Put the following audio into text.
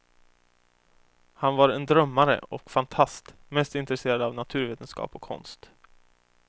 Han var en drömmare och fantast, mest intresserad av naturvetenskap och konst.